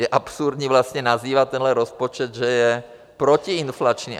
Je absurdní vlastně nazývat tenhle rozpočet, že je protiinflační.